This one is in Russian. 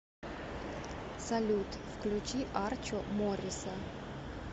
салют включи арчо морриса